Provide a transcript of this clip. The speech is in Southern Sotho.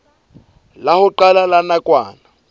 la ho qala la nakwana